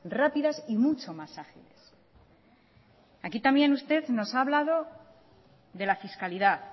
rápidas y mucho más agiles aquí también usted nos ha hablado de la fiscalidad